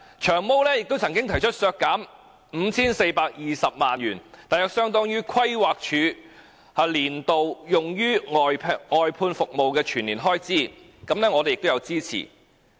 "長毛"亦曾提出削減 5,420 萬元，約相當於規劃署年度用於外判服務的全年開支，我們亦有支持。